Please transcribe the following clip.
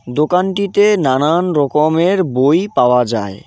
দোকানটিতে নানান রকমের বই পাওয়া যায়।